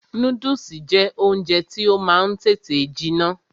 Núdùsì jẹ́ oúnjẹ tí ó máa ń tètè jiná